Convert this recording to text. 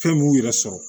Fɛn m'u yɛrɛ sɔrɔ